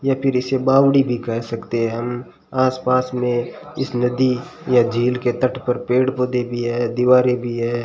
या फिर इसे बावड़ी भी कर सकते हैं हम आसपास में इस नदी या झील के तट पर पेड़ पौधे भी है दीवारें भी है।